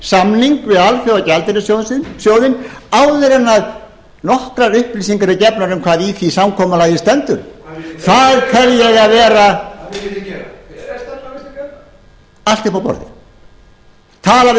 samning við alþjóðagjaldeyrissjóðinn áður en nokkrar upplýsingar eru gefnar um hvað í því samkomulagi stendur það tel ég að eigi að vera allt uppi á borði tala við